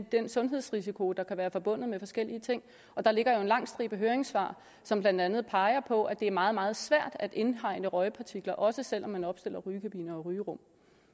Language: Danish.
den sundhedsrisiko der kan være forbundet med forskellige ting og der ligger jo en lang stribe høringssvar som blandt andet peger på at det er meget meget svært at indhegne røgpartikler også selv om man opstiller rygekabiner og rygerum